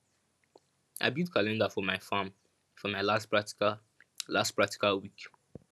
i build calendar for my farm for my last practical last practical week